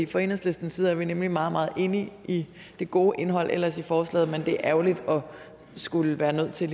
fra enhedslistens side er vi nemlig meget meget enige i det gode indhold ellers i forslaget men det er ærgerligt at skulle være nødt til